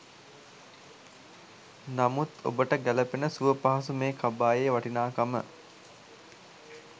නමුත් ඔබට ගැ‍ලපෙන සුවපහසු මේ කබායේ වටිනාකම